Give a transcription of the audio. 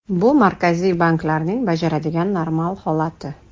Bu Markaziy banklarning bajaradigan normal holati.